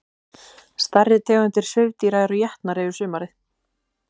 Stærri tegundir svifdýra eru étnar yfir sumarið.